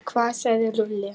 Hvað sagði Lúlli?